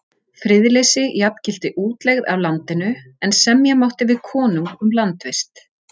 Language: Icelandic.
Friðleysi jafngilti útlegð af landinu, en semja mátti við konung um landvist.